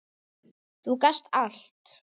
Þú gast allt!